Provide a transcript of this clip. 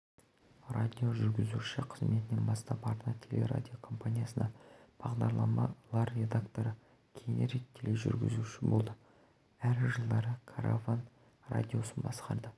радиожүргізуші қызметінен бастап арна телерадиокомпаниясында бағдарламалар редакторы кейінірек тележүргізуші болды әр жылдары караван радиосын басқарды